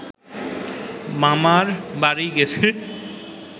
মামার বাড়ি গেছে